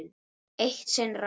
Eitt sinn rann